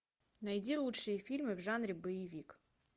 найди лучшие фильмы в жанре боевик